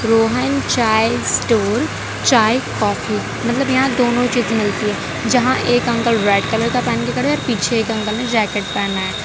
Rohan chai store चाय coffee मतलब यहां दोनों चीज मिलती है जहां एक अंकल रेड कलर के पहने हैं पीछे एक अंकल ने जैकेट पहना है।